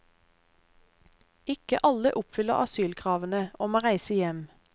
Ikke alle oppfyller asylkravene, og må reise hjem.